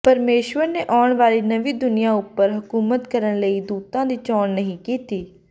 ਪਰਮੇਸ਼ੁਰ ਨੇ ਆਉਣ ਵਾਲੀ ਨਵੀਂ ਦੁਨੀਆਂ ਉੱਪਰ ਹਕੂਮਤ ਕਰਨ ਲਈ ਦੂਤਾਂ ਦੀ ਚੋਣ ਨਹੀਂ ਕੀਤੀ